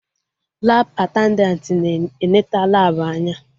Labụ atendantị na eneta Labụ anya